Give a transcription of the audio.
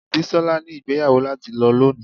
Bisola ni igbeyawo lati lo loni